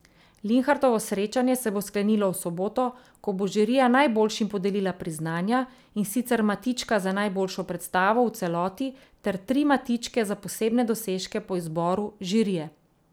Linhartovo srečanje se bo sklenilo v soboto, ko bo žirija najboljšim podelila priznanja, in sicer matička za najboljšo predstavo v celoti ter tri matičke za posebne dosežke po izboru žirije.